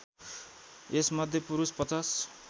यस मध्ये पुरुष ५०